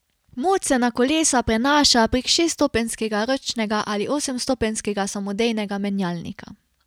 Moč se na kolesa prenaša prek šeststopenjskega ročnega ali osemstopenjskega samodejnega menjalnika.